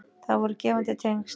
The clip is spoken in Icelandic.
Það voru gefandi tengsl.